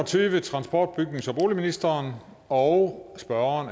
til transport bygnings og boligministeren og spørgeren